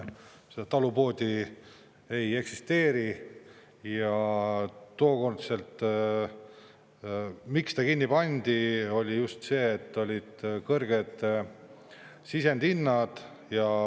Seda talupoodi ei eksisteeri ja miks ta tookord kinni pandi, oli just see, et olid kõrged sisendhinnad.